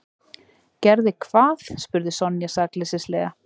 Gerði hvað? spurði Sonja sakleysislega.